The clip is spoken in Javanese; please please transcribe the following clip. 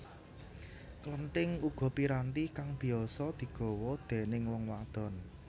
Klenthing uga piranti kang biasa digawa déningg wong wadon